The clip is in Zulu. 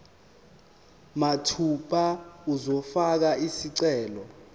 mathupha uzofaka isicelo